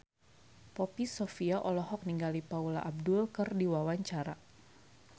Poppy Sovia olohok ningali Paula Abdul keur diwawancara